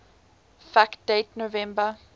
fact date november